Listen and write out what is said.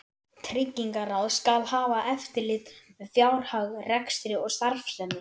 Tryggingaráð skal hafa eftirlit með fjárhag, rekstri og starfsemi